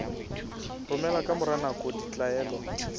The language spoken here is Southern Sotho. romela ka mora nako ditlaleho